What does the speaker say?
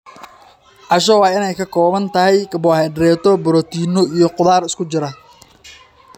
Casho waa in ay ka kooban tahay karbohaydraytyo, borotiinno, iyo khudaar isku jira.